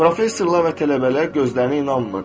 Professorlar və tələbələr gözlərinə inanmırdı.